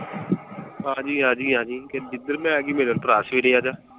ਆਜੀਂ ਆਜੀਂ ਆਜੀਂ, ਜਿੱਦਣ ਮੈਂ ਆਜੀਂ ਮੇਰੇ ਵੱਲੋਂ ਪਰਾ ਸਵੇਰੇ ਆਜਾ।